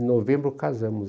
Em novembro, casamos.